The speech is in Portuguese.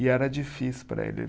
E era difícil para ele.